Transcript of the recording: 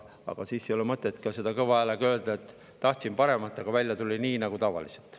Aga siis ei ole mõtet kõva häälega öelda, et tahtsime parimat, sest välja tuli nii nagu tavaliselt.